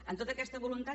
en tota aquesta voluntat